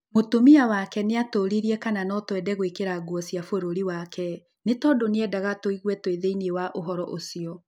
Mũtumia wake nĩatũririe kana notwende gwĩkĩra nguo cia bũrũri wake. Nĩ tondũnĩ endaga tũigue twi thĩiniĩ wa ũhoro ũcio.